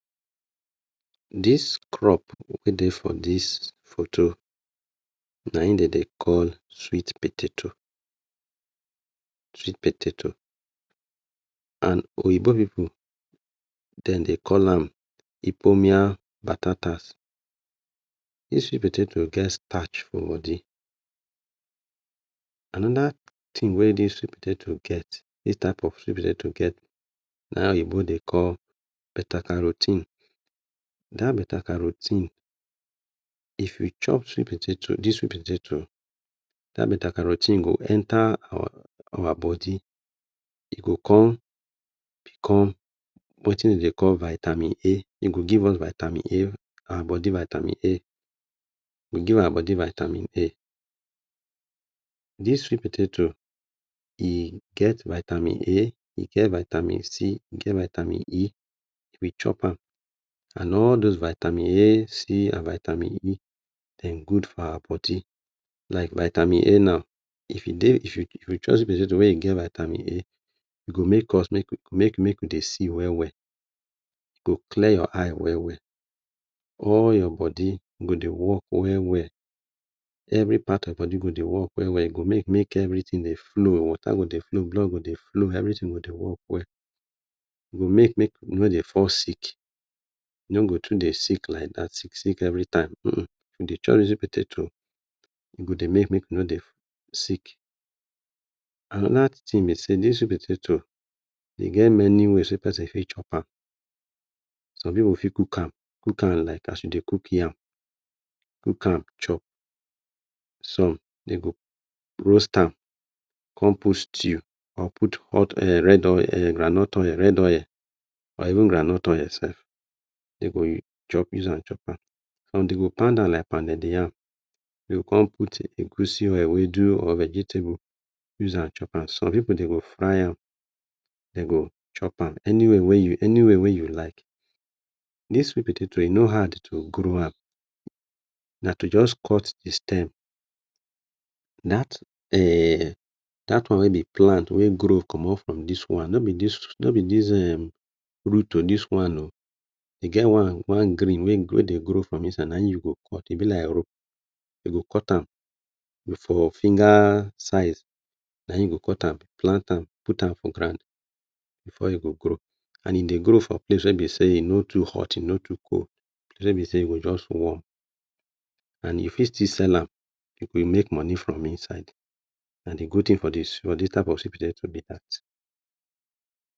Dis crop wey dey for dis photo, naim den dey call sweet potato, sweet potato. And oyinbo pipu den dey call am hipomian patatas. The sweet potato get starch for body. Anoda tin wey dis sweet potato get, dis type of sweet potato get, na oyinbo dey call beta caro ten e. Dat beta caro ten e, if you chop sweet potato dis sweet potato, dat beta caro ten e go enter our our body, e go kon become wetin den dey call vitamin A, e go give us vitamin A, our body vitamin A, e go give our body vitamin A. Dis sweet potato, e get vitamin A, e get vitamin C, e get vitamin E, if you chop am and all dose vitamin A, C and vitamin E, den good for our body. Like vitamin A now, if e dey, if you if you chop sweet potato wey you get vitamin A, e go make us make we make make we dey see well well, e go clear your eye well well. All your body, go dey work well well. Every part of your body go dey work well well. E go make make everytin dey flow, water go dey flow, blood go dey flow, everytin go dey work well. E go make make you nor dey fall sick, you no go too dey sick like that, sick sick every time, um um. If you dey chop dis sweet potato, e go dey make make you no dey sick. Anoda tin be sey this sweet potato, e get many ways wey person fit chop am. Some pipu fit cook am, cook am like as you dey cook yam, cook am chop. Some dem go roast am, come put stew or put hot um red oil er groundnut oil red oil or even groundnut oil sef, e go chop use am chop am. Some go pound am like pounded yam, den go kon put egusi or ewedu or vegetable, use am chop am. Some pipu den go fry am, den go chop am. Any way wey you, any way wey you like. This sweet potato, e no hard to grow am, na to just cut the stem, that um, that one wey dey plant wey grow comot from this one, no be this, nor be this um root to this one o. e get one, one green, wey dey grow from inside, naim you go cut, e be like rope. You go cut am for finger size, naim you go cut am, plant am, put am for ground before e go grow and e dey grow for place wey be sey e nor too hot, e nor too cool, place wey be say e go just warm, and you fit still sell am, you go dey make money from inside. Na the good tin for dis for dis type of sweet potato be that.